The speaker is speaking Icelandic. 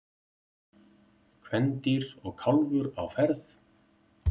kvendýr og kálfur á ferð